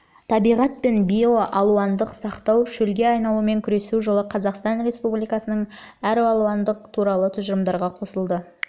табиғат пен биоралуандылықты сақтау шөлге айналумен күресу жылы қазақстан биологиялық әралуандылық туралы тұжырымдамаға қосылды